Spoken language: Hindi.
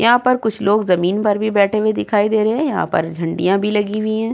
यहाँ पर कुछ लोग जमीन पर भी बैठे हुए दिखाई दे रहे हैं। यहाँ पर झंडियाँ भी लगी हुई हैं।